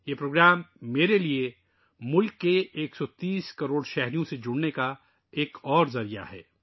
یہ پروگرام میرے لئے 130 کروڑ ہم وطنوں سے جڑنے کا ایک اور ذریعہ ہے